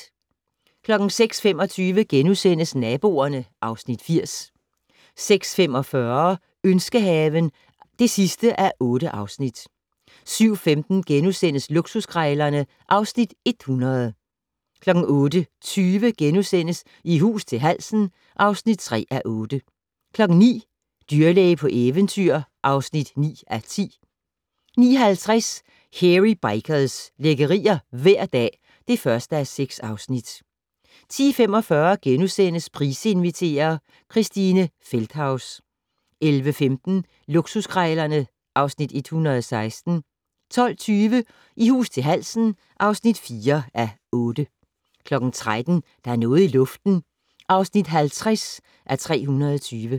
06:25: Naboerne (Afs. 80)* 06:45: Ønskehaven (8:8) 07:15: Luksuskrejlerne (Afs. 100)* 08:20: I hus til halsen (3:8)* 09:00: Dyrlæge på eventyr (9:10) 09:50: Hairy Bikers - lækkerier hver dag (1:6) 10:45: Price inviterer - Christine Feldthaus * 11:15: Luksuskrejlerne (Afs. 116) 12:20: I hus til halsen (4:8) 13:00: Der er noget i luften (50:320)